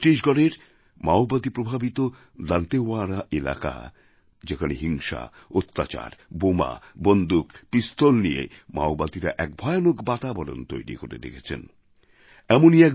ছত্তিশগড়ের মাওবাদী প্রভাবিত দান্তেওয়াড়া এলাকা যেখানে হিংসা অত্যাচার বোমা বন্দুক পিস্তল নিয়ে মাওবাদীরা এক ভয়ানক বাতাবরণ তৈরি করে রেখেছে এমনই এক